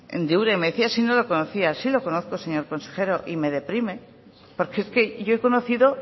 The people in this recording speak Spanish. de me decía si no lo conocía sí lo conozco señor consejero y me deprime porque es que yo he conocido